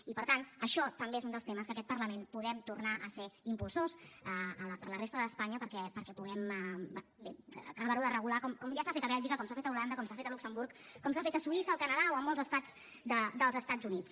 i per tant això també és un dels temes que aquest parlament podem tornar a ser impulsors per a la resta d’espanya perquè puguem bé acabar ho de regular com ja s’ha fet a bèlgica com s’ha fet a holanda com s’ha fet a luxemburg com s’ha fet a suïssa al canadà o a molts estats dels estats units